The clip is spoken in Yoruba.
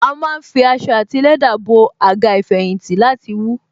A má ń fi aṣọ àti lẹ́dà bo Àga ìfẹ̀yìntì láti wú